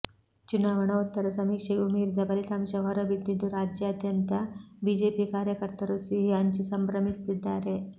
ಚುನಾವಣೋತ್ತರ ಸಮೀಕ್ಷೆಗೂ ಮೀರಿದ ಫಲಿತಾಂಶ ಹೊರಬಿದ್ದಿದ್ದು ರಾಜಾದ್ಯಂತ ಬಿಜೆಪಿ ಕಾರ್ಯಕರ್ತರು ಸಿಹಿ ಹಂಚಿ ಸಂಭ್ರಮಿಸುತ್ತಿದ್ದಾರೆ